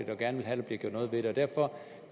gerne vil have der bliver gjort noget ved det derfor